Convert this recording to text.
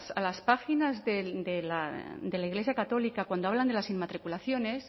a las páginas de la iglesia católica cuando hablan de las inmatriculaciones